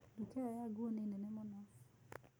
Nduka ĩyo ya nguo nĩ nene mũno.